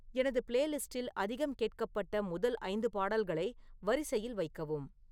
எனது பிளேலிஸ்ட்டில் அதிகம் கேட்கப்பட்ட முதல் ஐந்து பாடல்களை வரிசையில் வைக்கவும்